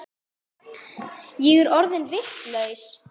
Ég er orðin vitlaus